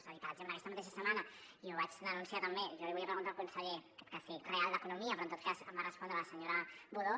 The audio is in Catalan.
és a dir per exemple aquesta mateixa setmana i ho vaig denunciar també jo l’hi volia preguntar al conseller en aquest cas sí real d’economia però en tot cas em va respondre la senyora budó